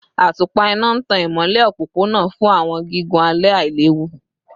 Atupa ina n tan imọlẹ opopona fun awọn gigun alẹ ailewu